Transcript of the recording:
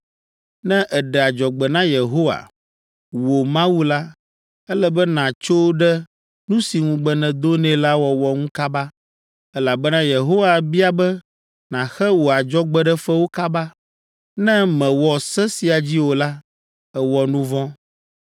“Ne èɖe adzɔgbe na Yehowa, wò Mawu la, ele be nàtso ɖe nu si ŋugbe nèdo nɛ la wɔwɔ ŋu kaba, elabena Yehowa bia be nàxe wò adzɔgbeɖefewo kaba. Ne mèwɔ se sia dzi o la, èwɔ nu vɔ̃.